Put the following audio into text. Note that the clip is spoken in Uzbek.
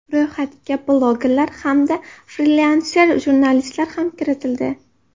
Ro‘yxatga blogerlar hamda frilanser jurnalistlar ham kiritildi.